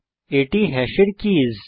এটি হ্যাশের কীস